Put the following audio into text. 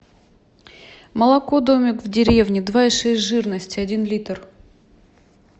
молоко домик в деревне два и шесть жирности один литр